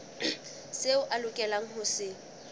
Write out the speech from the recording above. seo a lokelang ho se